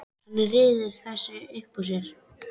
Hann ryður þessu upp úr sér.